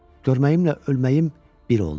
Görməyimlə ölməyim bir oldu.